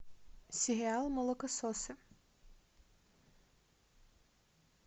сериал молокососы